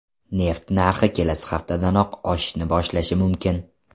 Neft narxi kelasi haftadanoq oshishni boshlashi mumkin.